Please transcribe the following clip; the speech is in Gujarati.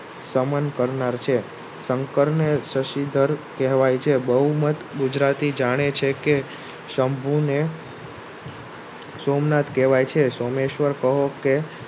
શંકરને સસીઘર કહેવાય છે. બહુમત ગુજરાતી જાણે છે કે શભુને સોમનાથ કહેવાય છે સોમેશ્વર કહો કે